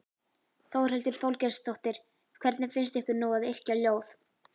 Þórhildur Þorkelsdóttir: Hvernig finnst ykkur nú að yrkja ljóð?